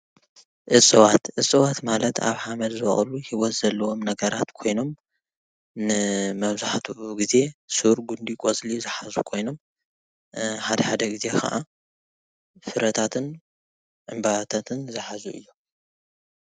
እፅዋት፡- እፅዋት ማለት አብ ሓመድ ዝወቅሉ ሂወት ዘለዎም ነገራት ኮይኖም ንመብዛሕትኡ ግዜ ሱር፣ ጉንዲ፣ ቆፅሊ ዝሓዙ ኮይኖም ሓደ ሓደ ግዜ ከዓ ፍረታትን ዕምበባታትን ዝሓዙ እዮም፡፡